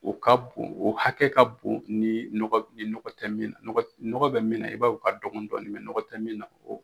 O ka bon , o hakɛ ka bon ni nɔgɔ tɛ min na, nɔgɔ bɛ min na i b'a ye o ka dɔgɔn dɔɔni nɔgɔ tɛ min na